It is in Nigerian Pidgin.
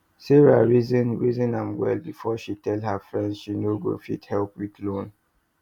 sarah reason reason am well before she tell her friend she no go fit help with loan